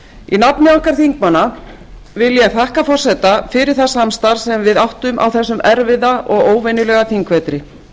í nafni okkar þingmanna vil ég þakka forseta fyrir það samstarf sem við áttum á þessum erfiða og óvenjulega þingvetri